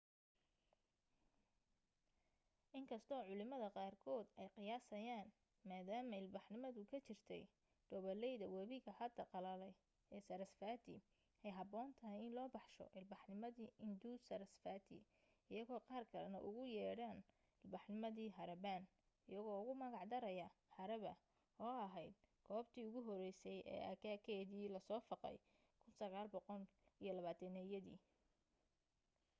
in kastoo culimad qaarkood ay qiyaasayaan maadaama ilbaxnimadu ka jirtay dhoobalayda wabiga hadda qallalay ee sarasvati ay habboon tahay in loo baxsho ilbaxnimadii indus-sarasvati iyadoo qaar kalena ugu yeedhaan ilbaxnimadii harappan iyagoo ugu magac daraya harapa oo ahayd goobtii ugu horeysa ee aagageedii la soo fagay 1920-yadii